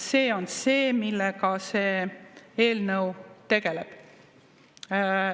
See on see, millega see eelnõu tegeleb.